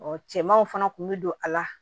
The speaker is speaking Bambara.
cɛmanw fana kun bɛ don a la